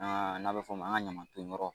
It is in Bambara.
Aa n'a bɛ fɔ o ma an ka ɲaman ton yɔrɔ.